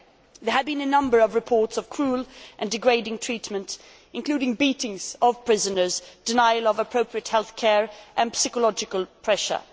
There have been a number of reports of cruel and degrading retreatment, including beatings of prisoners, denial of appropriate health care and psychological pressure.